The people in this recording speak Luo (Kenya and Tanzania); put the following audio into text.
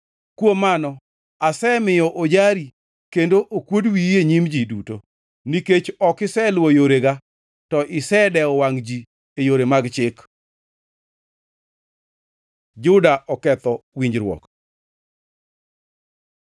“Kuom mano asemiyo ojari kendo okuod wiyi e nyim ji duto, nikech ok iseluwo yorega to isedewo wangʼ ji e yore mag chik.” Juda oketho winjruok